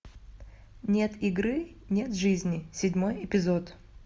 нет игры нет жизни седьмой эпизод